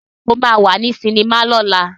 Sé o máa wà ní sinimá lọ́la?